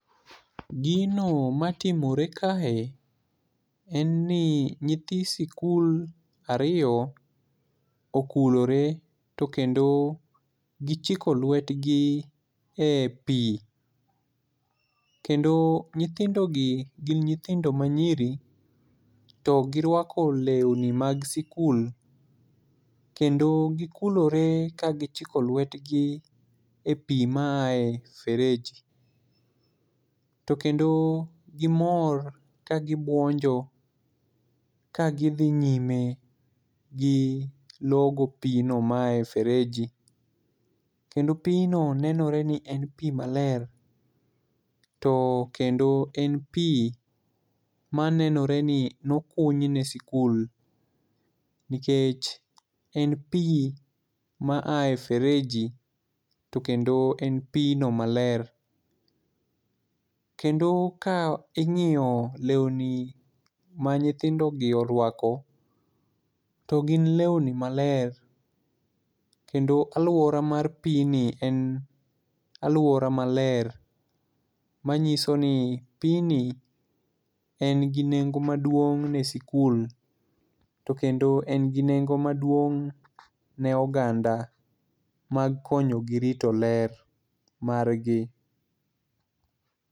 Gino matimore kae en ni nyithi sikul ariyo okulore to kendo gichiko lwetgi e pi, kendo nyithindogi gin nyithindo manyiri to girwako lewni mag skul, kendo gikulore ka gichiko lwetgi e pi ma aye fereji, kendo gimor kagibwonjo ka gidhi nyime gi logo pino ma yae fereji to kendo pino nenore ni en pi maler ,to kendo en pi manenore ni nokunyne sikul, nikech en pi ma aye fereji to kendo en pino maler. Kendo ka ing'iyo lewni ma nyithindogi orwako, to gin lewni maler, kendo alwora mar pini en alwora maler, manyiso ni pini en gi nengo maduong' ne sikul, to kendo en gi nengo maduong' ne oganda mag konyogi rito ler margi.